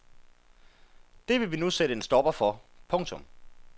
Det vil vi nu sætte en stopper for. punktum